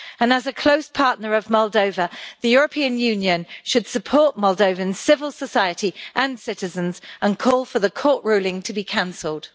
As a close partner of Moldova, the European Union should support Moldovan civil society and citizens, and call for the court ruling to be cancelled.